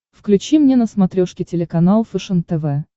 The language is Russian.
включи мне на смотрешке телеканал фэшен тв